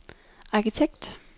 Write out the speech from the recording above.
arkitekt